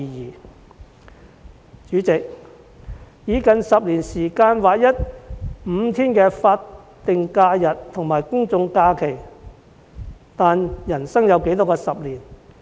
代理主席，當局以近10年時間劃一5天的法定假日和公眾假期，但人生有多少個10年？